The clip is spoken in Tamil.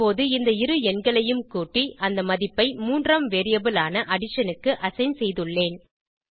இப்போது இந்த இரு எண்களையும் கூட்டி அந்த மதிப்பை மூன்றாம் வேரியபிள் ஆன அடிஷன் க்கு அசைன் செய்துள்ளேன்